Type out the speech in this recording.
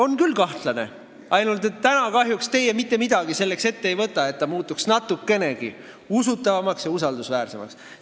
On küll kahtlane, ainult et täna kahjuks te mitte midagi ette ei võta, et see muutuks natukenegi usutavamaks ja usaldusväärsemaks.